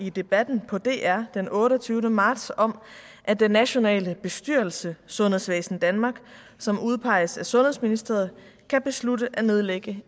i debatten på dr den otteogtyvende marts om at den nationale bestyrelse sundhedsvæsen danmark som udpeges af sundhedsministeriet kan beslutte at nedlægge